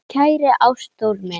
Kæri Ástþór minn.